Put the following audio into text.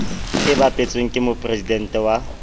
e bapetsweng ke mopresidente wa